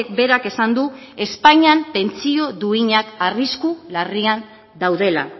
berak esan du espainian pentsio duinak arrisku larrian daudela